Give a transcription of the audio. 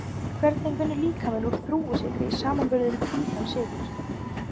Hvernig vinnur líkaminn úr þrúgusykri í samanburði við hvítan sykur?